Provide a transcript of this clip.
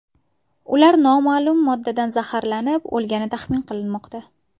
Ular noma’lum moddadan zaharlanib o‘lgani taxmin qilinmoqda.